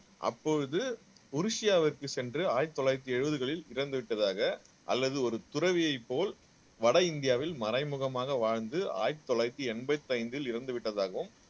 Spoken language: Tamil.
அப்பொழுது மொரிசியாவிற்கு சென்று ஆயிரத்து தொள்ளாயிரத்து எழுபதுகளில் இறந்து விட்டதாக அல்லது ஒரு துறவியைப் போல் வட இந்தியாவில் மறைமுகமாக வாழ்ந்து ஆயிரத்து தொள்ளாயிரத்து எண்பத்து ஐந்தில் இறந்து விட்டதாகவும்